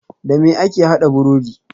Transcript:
Dame ake haɗa burodi?